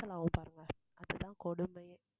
cancel ஆகும் பாருங்க, அது தான் கொடுமையே.